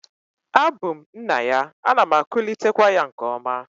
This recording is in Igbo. A bu m nna ya, ana m akulitekwa ya nke oma